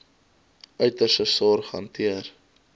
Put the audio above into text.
uiterste sorg hanteer